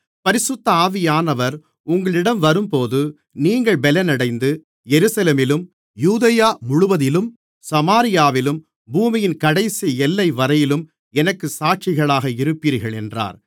பரிசுத்த ஆவியானவர் உங்களிடம் வரும்போது நீங்கள் பெலனடைந்து எருசலேமிலும் யூதேயா முழுவதிலும் சமாரியாவிலும் பூமியின் கடைசி எல்லைவரையிலும் எனக்குச் சாட்சிகளாக இருப்பீர்கள் என்றார்